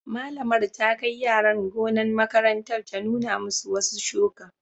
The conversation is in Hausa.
Malamin ta kai yaran gonan' makarantan ta nuna masu wasu shuki.